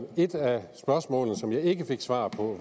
et af spørgsmålene som jeg ikke fik svar på